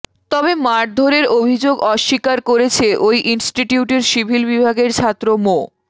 তবে মারধরের অভিযোগ অস্বীকার করেছে ওই ইনস্টিটিউটের সিভিল বিভাগের ছাত্র মো